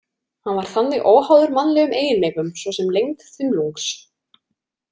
Hann var þannig óháður mannlegum eiginleikum svo sem lengd þumlungs.